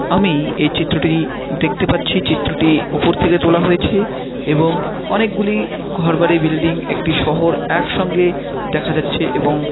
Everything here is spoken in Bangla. আমি এই চিত্রটি দেখতে পাচ্ছি চিত্রটি উপর থেকে তোলা হয়েছে এবং অনেকগুলি ঘরবাড়ি বিল্ডিং একটি শহর একসঙ্গে দেখা যাচ্ছে এবং--